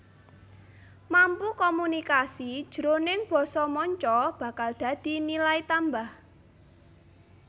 Mampu komunikasi jroning basa manca bakal dadi nilai tambah